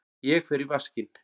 Ég fer í vaskinn.